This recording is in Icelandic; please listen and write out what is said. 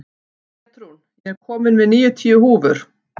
Pétrún, ég kom með níutíu húfur!